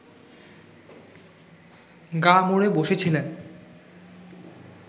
গা মুড়ে বসেছিলেন